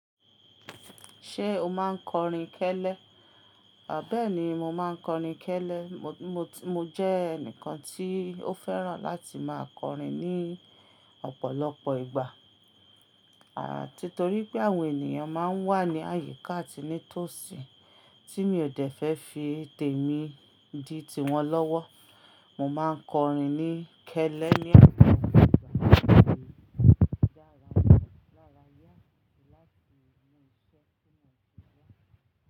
Ṣé o máa ń kọrin kẹ́lẹ́? À bẹ́ẹ́ni, mo máa ń kọrin kẹ́lẹ́. Mo jẹ́ ẹnìkan tí ó fẹ́ràn láti máa kọrin ní ọ̀pọ̀lọpọ̀ ìgbà. Àn, nítorí pé àwọn ènìyàn máa ń wà ní àyíká àti ní tòsí tí mi ò dẹ́fẹ́ fi tèmi di tiwọn lọ́wọ́. Mo máa ń kọrin ní kẹ́lẹ́ ní ọ̀pọ̀ ìgbà láti dára lára yá láti mú iṣẹ́ tó mọ̀ tó yá.